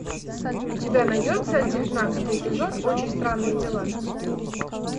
у тебя найдется девятнадцатый эпизод очень странные дела